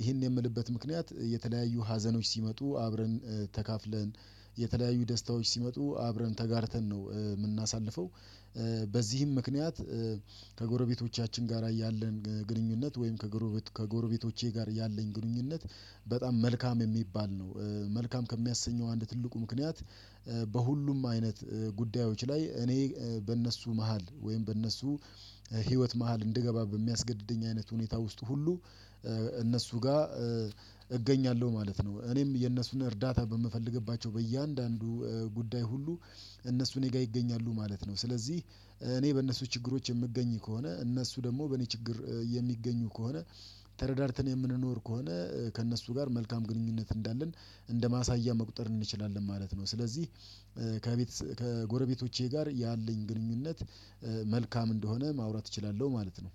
ይሄን የምልበት ምክንያት የተለያዩ ሀዘኖች ሲመጡ አብረን ተካፍለን የተለያዩ ደስታዎች ሲመጡ አብረን ተጋርተን ነው የምናሳልፈው። በዚህም ምክንያት ከጎረቤቶቻችን ጋር ያለን ግንኙነት ወይም ከጎረቤቶቼ ጋር ያለኝ ግንኙነት በጣም መልካም የሚባል ነው። መልካም ከሚያሰኘው አንድ ትልቁ ምክንያት በሁሉም አይነት ጉዳዮች ላይ እኔ በእነሱ መሃል ወይም በእነሱ ህይወት መሃል እንድገባ በሚያስገድደኝ አይነት ሁኔታ ውስጥ ሁሉ እነሱ ጋር እገኛለሁ ማለት ነው። እኔም የእነሱን እርዳታ በምፈልግባቸው በእያንዳንዱ ጉዳይ ሁሉ እነሱ እኔ ጋር ይገኛሉ ማለት ነው። ስለዚህ እኔ በእነሱ ችግሮች የምገኝ ከሆነ እነሱ ደግሞ በእኔ ችግር የሚገኙ ከሆነ ተረዳድተን የምንኖር ከሆነ ከእነሱ ጋር መልካም ግንኙነት እንዳለን እንደማሳያ መቁጠር እንችላለን ማለት ነው። ስለዚህ ከቤት ከጎረቤቶቼ ጋር ያለኝ ግንኙነት መልካም እንደሆነ ማውራት እችላለሁ ማለት ነው